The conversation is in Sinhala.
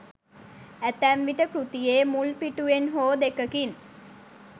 ඇතැම් විට කෘතියේ මුල් පිටුවෙන් හෝ දෙකකින්